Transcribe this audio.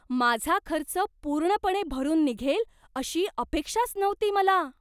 माझा खर्च पूर्णपणे भरून निघेल अशी अपेक्षाच नव्हती मला!